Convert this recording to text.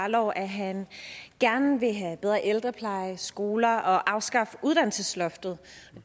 jarlov at han gerne vil have bedre ældrepleje og skoler og afskaffe uddannelsesloftet